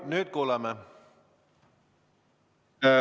Nüüd kuuleme!